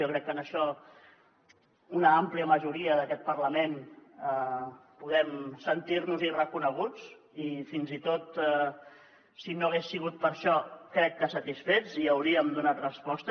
jo crec que en això una àmplia majoria d’aquest parlament podem sentir nos hi reconeguts i fins i tot si no hagués sigut per això crec que satisfets i hi hauríem donat resposta